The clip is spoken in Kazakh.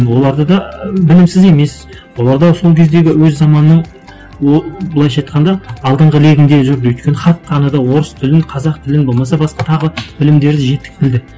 оларды да ы білімсіз емес олар да сол кездегі өз заманның былайша айтқанда алдынғы легінде жүрді өйткені хат таныды орыс тілін қазақ тілін болмаса басқа тағы білімдерді жітік білді